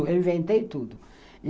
Eu inventei tudo.